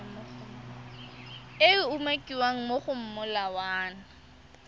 e umakiwang mo go molawana